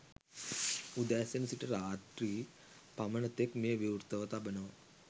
උදෑසනසිට රාත්‍රී . පමණ තෙක් මෙය විවෘතව තබනවා